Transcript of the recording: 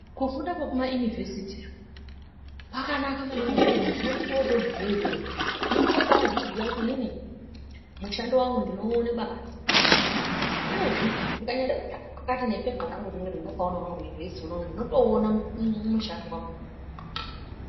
Kufunda kwekumaInivhesiti iyo kwakanaka maningi ngekuti muntu unototi wotobveyo iyoyo unenge wobazviziya kuti inini mushando wangu ndinouona kwakati nekwakati uyezve ndikanyade kutsvake kwakati nepepa rangu rinoiri rendakaonawo hangu kuInivhesiti unono ndinotouona mushando wangu.